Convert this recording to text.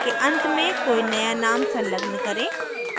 array के अंत में कोई नया name संलग्न करें